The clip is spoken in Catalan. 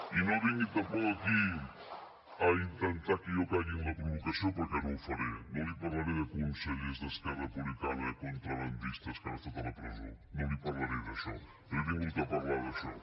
i no vingui tampoc aquí a intentar que jo caigui en la provocació perquè no ho faré no li parlaré de consellers d’esquerra republicana contrabandistes que han estat a la presó no li parlaré d’això no he vingut a parlar d’això